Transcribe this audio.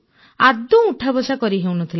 ଆଦୌ ଉଠାବସା କରି ହେଉନଥିଲା